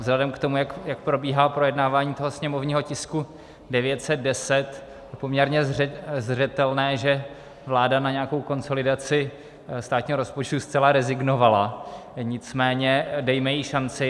Vzhledem k tomu, jak probíhá projednávání toho sněmovního tisku 910, je poměrně zřetelné, že vláda na nějakou konsolidaci státního rozpočtu zcela rezignovala, nicméně dejme jí šanci.